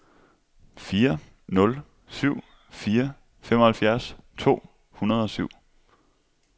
fire nul syv fire femoghalvfjerds to hundrede og syv